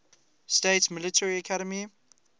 states military academy